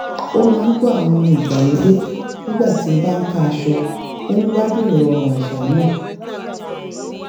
ó máa ń gbọ́ àwọn orin ìgbàlódé nígbà tí ó bá n ká aṣọ ó ń gbádùn ìrọ̀rùn àṣà náà